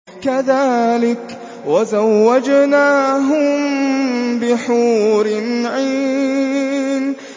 كَذَٰلِكَ وَزَوَّجْنَاهُم بِحُورٍ عِينٍ